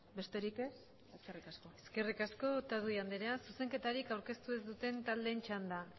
besterik ez eskerrik asko eskerrik asko otadui anderea zuzenketarik aurkeztu ez duten taldeen txanda